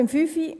Zum Punkt 5: